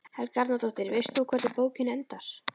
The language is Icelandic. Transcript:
Helga Arnardóttir: Veist þú hvernig bókin endar?